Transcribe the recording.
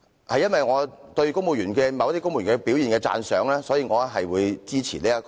基於對某些公務員表現的讚賞，我會支持《條例草案》。